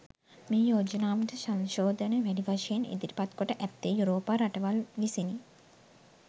මේ යෝජනාවට සංශෝධන වැඩි වශයෙන් ඉදිරිපත් කොට ඇත්තේ යුරෝපා රටවල් විසිනි.